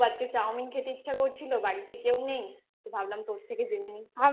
আজকে chowmein খেতে ইচ্ছা করছিলো বাড়িতে কেউ নেই তো ভাবলাম তোর থেকে জেনে নিই